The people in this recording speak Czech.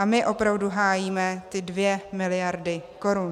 A my opravdu hájíme ty dvě miliardy korun.